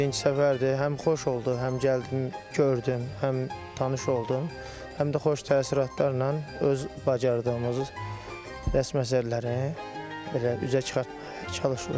Mən də birinci səfərdir, həm xoş oldu, həm gəldim, gördüm, həm tanış oldum, həm də xoş təəssüratlarla öz bacardığımız rəsm əsərlərini belə üzə çıxartmağa çalışırıq.